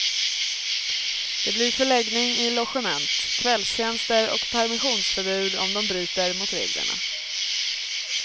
Det blir förläggning i logement, kvällstjänster och permissionsförbud om de bryter mot reglerna.